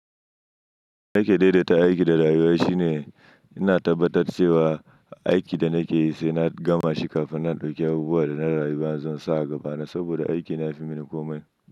Nake daidai ta aiki da rayuwa shine ina tabbatar cewa aikin da nake yi sai na gama shi kafin na ɗauki abubuwan da na rayuwa zan sa a gaba na saboda aiki na yafi mini komai.